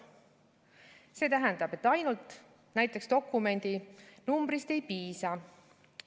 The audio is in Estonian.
See tähendab, et ainult näiteks dokumendinumbrist ei piisa.